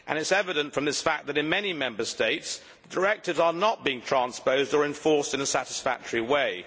It is evident from this fact that in many Member States directives are not being transposed or enforced in a satisfactory way.